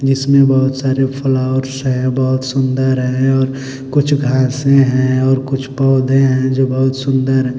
जिसमें बहुत सारे फ्लावर्स हैं बहुत सुंदर हैं और कुछ घासें हैं और कुछ पौधे हैं जो बहुत सुंदर हैं।